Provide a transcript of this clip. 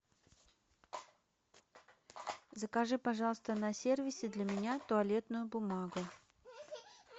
закажи пожалуйста на сервисе для меня туалетную бумагу